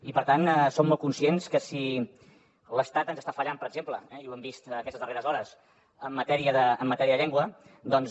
i per tant som molt conscients que si l’estat ens està fallant per exemple ho hem vist aquestes darreres hores en matèria de llengua doncs